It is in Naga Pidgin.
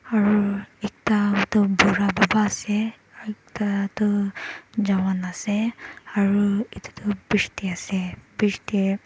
aru ekta tu bura baba ase ekta tu jawan ase aru etu tu bridge te ase bridge te--